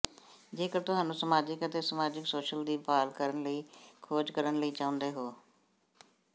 ਜੇਕਰ ਤੁਹਾਨੂੰ ਸਮਾਜਿਕ ਅਤੇ ਸਮਾਜਿਕ ਸੋਸ਼ਲ ਦੀ ਭਾਲ ਕਰਨ ਲਈ ਖੋਜ ਕਰਨ ਲਈ ਚਾਹੁੰਦੇ ਹੋ